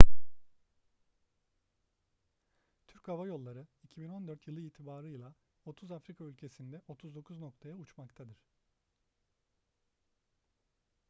türk hava yolları 2014 yılı itibarıyla 30 afrika ülkesinde 39 noktaya uçmaktadır